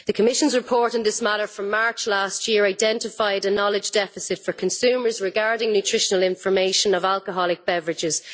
The Commission's report in this matter from March last year identified a knowledge deficit for consumers regarding nutritional information on alcoholic beverages.